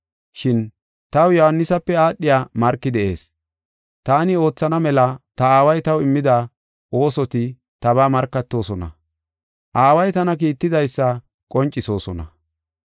“Shin taw Yohaanisape aadhiya marki de7ees. Taani oothana mela ta Aaway taw immida oosoti tabaa markatoosona; Aaway tana kiittidaysa qoncisosona.